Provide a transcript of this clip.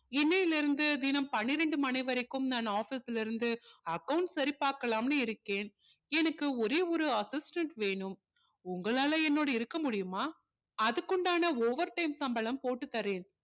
இன்னையில இருந்து தினம் பன்னிரண்டு மணி வரைக்கும் நான் office ல இருந்து accounts சரி பார்க்கலாம்னு இருக்கேன் எனக்கு ஒரே ஒரு assistant வேணும் உங்களால என்னோடு இருக்க முடியுமா அதுக்குண்டான overtime சம்பளம் போட்டு தரேன்